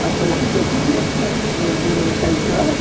Mas depois o meu pai resolveu a casar.